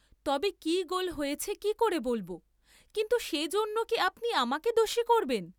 তবে কি গোল হয়েছে কি করে বলব, কিন্তু সে জন্যে কি আপনি আমাকে দোষী করবেন?